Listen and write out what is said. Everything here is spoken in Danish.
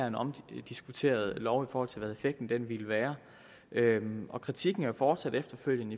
en omdiskuteret lov i forhold til hvad effekten ville være og kritikken er jo fortsat efterfølgende